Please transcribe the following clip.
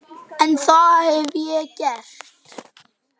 En það hef ég gert.